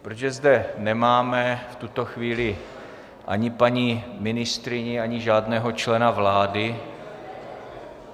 Protože zde nemáme v tuto chvíli ani paní ministryni, ani žádného člena vlády ...